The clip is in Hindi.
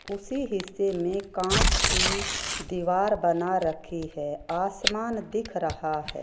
उसी हिस्से में कांच की दीवार बना रखी है आसमान दिख रहा है।